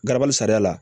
Garabali sariya la